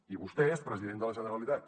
i vostè és president de la generalitat